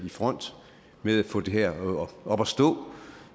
i front med at få det her op at stå